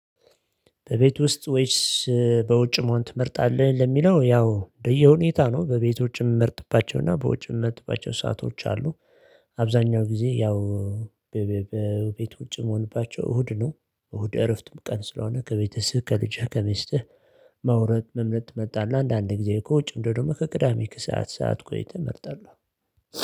በቤት ውስጥ ወይስ በውጭ መሆን ትመርጣለህ? ለሚለው ያው ለየሁኔታ ነው በቤት ውጭ የምመርጥባቸውና በውጭ ምርጥባቸው ሰአቶች አሉ። አብዛኛው ጊዜ ያው በቤቶችም እሁድ ነው እሁድ እረፍት ቀን ስለሆነ ከቤተሰብ ከልጅህ ከሚስትህ። መውረድ መምለጥ መጣለህ አንዳንዴ ጊዜ ከውጭ እንደው ደግሞ ከቅዳሜ ከሰአት ሰዓት እኮ ተመርጠለሁ።